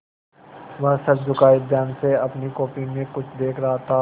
वह सर झुकाये ध्यान से अपनी कॉपी में कुछ देख रहा था